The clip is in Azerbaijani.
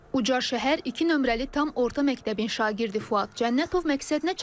Ucar şəhər iki nömrəli tam orta məktəbin şagirdi Fuad Cənnətov məqsədinə çatıb.